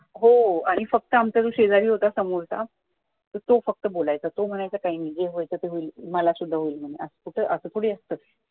हो आणि फक्त आमचा जो शेजारी होता समोरचा तर तो फक्त बोलायचं तो म्हणायचं काही नाही जे होईल ते होईल मला सुद्धा होईल म्हणे कुठे असं थोडी असतं